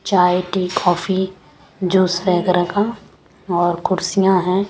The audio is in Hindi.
चाय टी कॉफी जूस वगैरह का और कुर्सियां हैं।